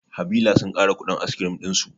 Havillah sun ƙara kuɗin askirim ɗinsu